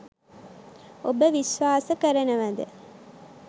ඔබ විශ්වාස කරනවද?